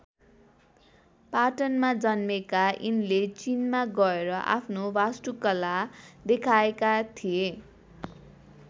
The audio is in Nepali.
पाटनमा जन्मेका यिनले चीनमा गएर आफ्नो वास्तुकला देखाएका थिए।